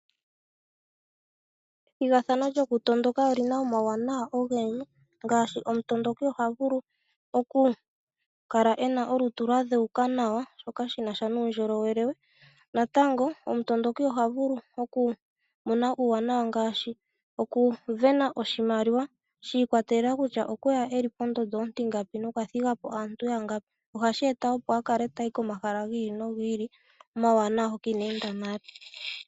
Ethigathano lyokutondoka olina omauwanawa ogendji ngaashi omutondoki ohaka la ena olutu kwa dheuka nawa shoka shina sha nuundjolowele we natango omu tondoki oha vulu oku mona uuwanawa ngaashi okuvena oshimaliwa shi ikwatelelela kutya okweya eli pondondo ontingapi nokwathiga po aantu yangapi . Ohashi eta opo omuntu a kale tayi komahala gi ili nogi ili omawanawa hoka inaa enda nale .